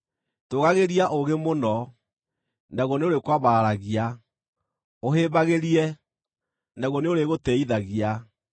Tũũgagĩria ũũgĩ mũno, naguo nĩũrĩkwambararagia; ũhĩmbagĩrie, naguo nĩũrĩgũtĩĩithagia.